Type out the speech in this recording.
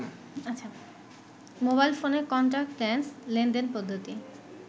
mobile ফোনের contactless লেনদেন পদ্ধতি